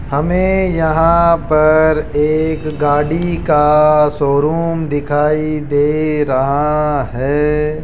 हमें यहां पर एक गाड़ी का शोरूम दिखाई दे रहा है।